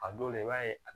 A dɔw la i b'a ye a